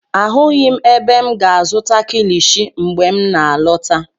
Ahụghị m ebe m ga-azụta kilishi mgbe m n'alọta.